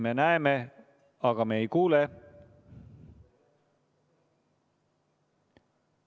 Me näeme, aga me ei kuule sind.